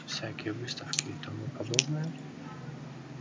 всякие выставки и тому подобное